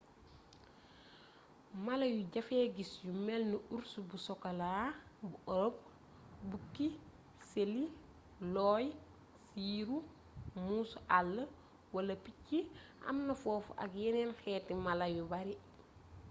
mala yu jafeee gis yu melni urs bu sokoolaa bu ëropë bukki ceeli looy siiru muusu àll wal picc am na foofu ak yeneen xeeti mala yu bare